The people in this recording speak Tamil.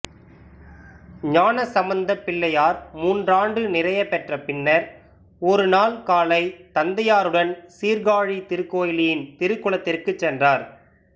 ஞானசம்பந்தப் பிள்ளையார் மூன்றாண்டு நிறையப் பெற்ற பின்னர் ஒரு நாள் காலை தந்தையாருடன் சீர்காழி திருகோயிலின் திருக்குளத்திற்குச் சென்றார்